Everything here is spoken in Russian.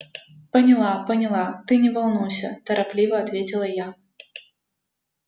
поняла поняла ты не волнуйся торопливо ответила я